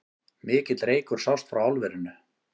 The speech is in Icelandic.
Mikill reykur sást frá álverinu